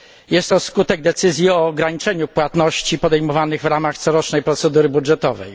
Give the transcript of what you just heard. Jest to skutek decyzji o ograniczeniu płatności podejmowanych w ramach corocznej procedury budżetowej.